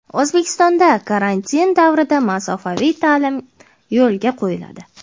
O‘zbekistonda karantin davrida masofaviy ta’lim yo‘lga qo‘yiladi.